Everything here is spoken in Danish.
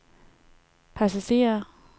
passagerer